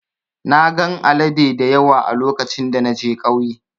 Na gan alade dayawa a lokacin da na je kauye.